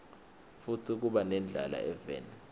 futsi kuba nendlala eveni